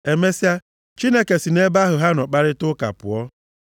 Emesịa, Chineke si nʼebe ahụ ha nọ kparịtaa ụka pụọ.